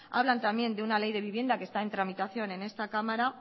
hablan también de una ley de vivienda que está en tramitación en esta cámara